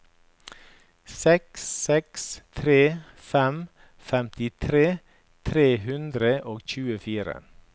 seks seks tre fem femtitre tre hundre og tjuefire